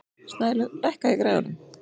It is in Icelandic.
Snælaug, lækkaðu í græjunum.